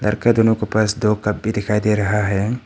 दोनों के पास दो कप भी दिखाई दे रहा है।